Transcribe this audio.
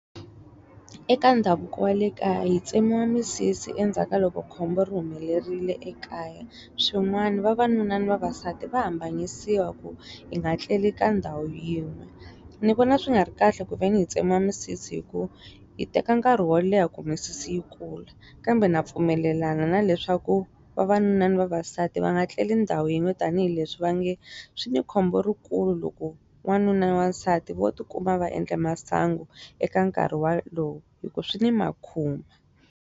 Eka ndhavuko wa le kaya hi tsemiwa misisi endzhaku ka loko khombo ri humelerile ekaya. swin'wana vavanuna na vavasati va hambanyisiwa ku hi nga tleli ka ndhawu yin'we. Ni vona swi nga ri kahle ku ve ni hi tsemiwa misisi hikuva yi teka nkarhi wo leha ku misisi yi kula kambe na pfumelelana na leswaku vavanuna na vavasati va nga tleli ni ndhawu yin'we tanihileswi va nge, swi ni khombo ri kulu loko n'wanuna ya wansati vo ti kuma va endle masangu, eka nkarhi walowu hikuva swi ni makhuma.